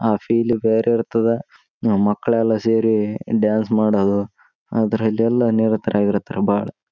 ಹೂವಿನ ಎಲೆಗಳನ್ನು ಹಾಕಿದ್ದಾರೆ ಯಾರು ಒಂದು ಗಿಡವನ್ನು ಹಿಡಿದುಕೊಂಡು ಫೋಟೋ ತೆಗೆಸ್ತಾಯಿದ್ದಾರೆ.